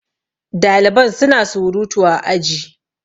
daliban suna surutu a aji